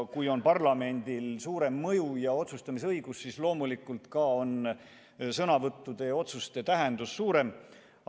Kui on parlamendil suurem mõju ja otsustamisõigus, siis loomulikult on ka sõnavõttude ja otsuste tähendus suurem.